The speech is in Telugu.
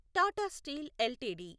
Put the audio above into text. Tata steel LTD